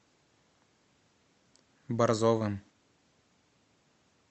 борзовым